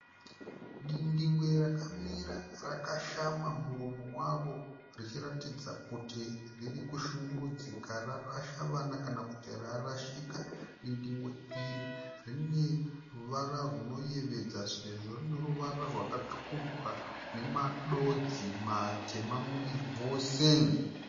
Dindingwe rakamira rakashama muromo waro richiratidza kuti riri kushungurudzika rarasha vana kana kuti rarashika. Dindingwe iri rine ruvara rwunoyevedza sezvo rine ruvara rwakatsvukuruka nedodzi matema muviri wose.